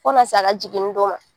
Fo kan'a se a ka jiginni don ma.